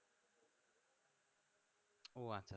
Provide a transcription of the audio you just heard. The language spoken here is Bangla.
ও আচ্ছা